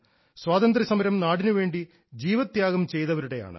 സ്വാതന്ത്ര്യസമരം നാടിനുവേണ്ടി ജീവത്യാഗം ചെയ്തവരുടെയാണ്